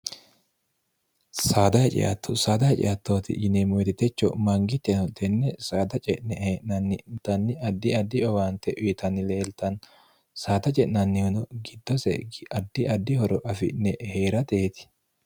saadate ceatto saadate ceattooti yineemmoti techo mangiteno tenne saada ce'ne hee'nanni danni addi addi owaante uyitanni leeltanni saada ce'nannihuno giddose addi addi horo afi'ne hee'rateeti